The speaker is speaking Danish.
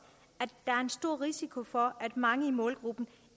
at der er en stor risiko for at mange i målgruppen